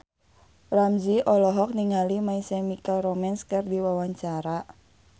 Ramzy olohok ningali My Chemical Romance keur diwawancara